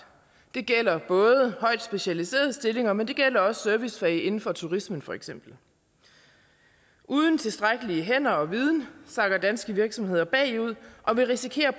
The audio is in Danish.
det gælder både højt specialiserede stillinger men det gælder også i servicefag inden for turismen for eksempel uden tilstrækkeligt med hænder og viden sakker danske virksomheder bagud og vil risikere